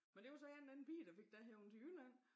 Men det var så en eller anden pige der fik dig hevet til Jylland?